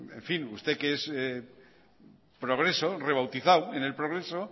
en fin usted que es progreso rebautizado en el progreso